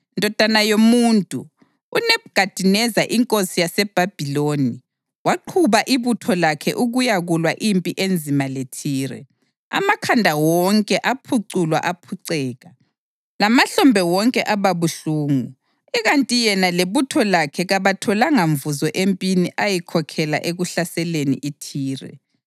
“Ndodana yomuntu, uNebhukhadineza inkosi yaseBhabhiloni waqhuba ibutho lakhe ukuyakulwa impi enzima leThire, amakhanda wonke aphuculwa aphuceka, lamahlombe wonke aba buhlungu. Ikanti yena lebutho lakhe kabatholanga mvuzo empini ayikhokhela ekuhlaseleni iThire.